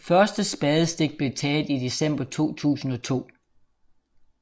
Første spadestik blev taget i december 2002